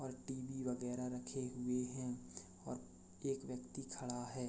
और टीवी वगैरा रखे हुए है और एक व्यक्ति खड़ा है।